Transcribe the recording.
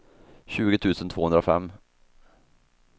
tjugo tusen tvåhundrafem